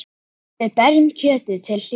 Við berjum kjötið til hlýðni.